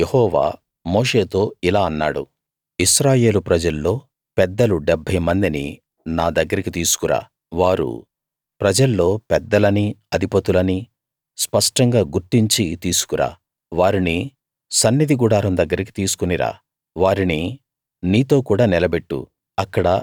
అప్పుడు యెహోవా మోషేతో ఇలా అన్నాడు ఇశ్రాయేలు ప్రజల్లో పెద్దలు 70 మందిని నాదగ్గరికి తీసుకురా వారు ప్రజల్లో పెద్దలనీ అధిపతులనీ స్పష్టంగా గుర్తించి తీసుకురా వారిని సన్నిధి గుడారం దగ్గరికి తీసుకుని రా వారిని నీతో కూడా నిలబెట్టు